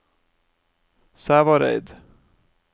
Sævareid